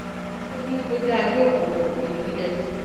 ó ní ó dáa jókòó ọgbẹni williams